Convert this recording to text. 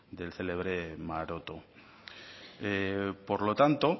del célebre maroto por lo tanto